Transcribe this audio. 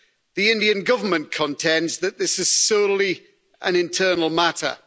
The Indian Government contends that this is solely an internal matter.